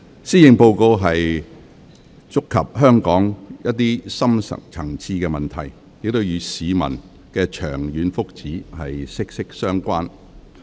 施政報告觸及香港一些深層次問題，與市民的長遠福祉息息相關。